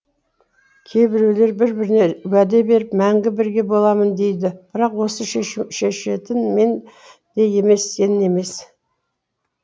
кейбіреулер бір біріне уәде беріп мәңгі бірге боламын дейді бірақ оны шешетін мен де емес сен емес